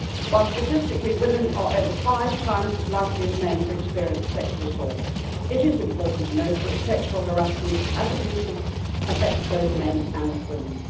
Whilst statistically women are over five times as likely as men to experience sexual assault, it is important to note that sexual harassment and abuse affects both men and women.